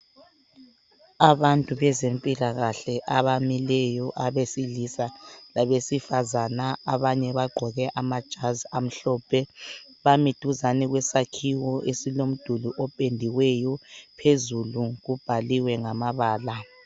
Abantu bezempilakahle abamileyo abesilisa labesifazane abanye bagqoke amajazi amhlophe. Bami duzane kwesakhiwo esilomduli opendiweyo phezulu kubhaliwe ngamabala.